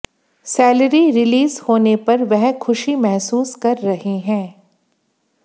salary release होने पर वह खुशी महसूस कर रहे हैं